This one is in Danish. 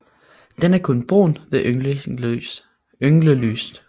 Den er kun brun ved ynglelyst